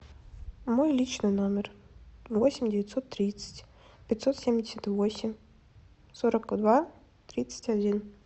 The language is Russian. мой личный номер восемь девятьсот тридцать пятьсот семьдесят восемь сорок два тридцать один